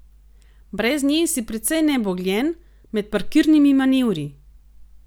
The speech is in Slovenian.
Brez nje si precej nebogljen med parkirnimi manevri!